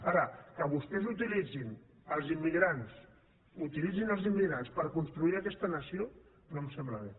ara que vostès uti litzin els immigrants utilitzin els immigrants per construir aquesta nació no em sembla bé